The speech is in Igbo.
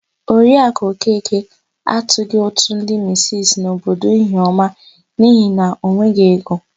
Oriakụ Okeke atụghị ụtụ ndị misisi n'obodo Ihiọma n'ihi na o nweghị ego.